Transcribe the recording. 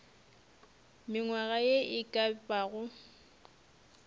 mengwaga ye e ka bago